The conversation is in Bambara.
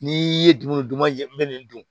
N'i ye dumuni duman jeni dun